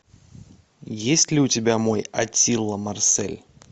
есть ли у тебя мой аттила марсель